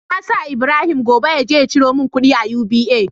Na sa Ibrahim gobe yaje ya ciro mun kudi a UBA